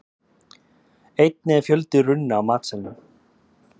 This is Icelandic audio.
Einnig er fjöldi runna á matseðlinum.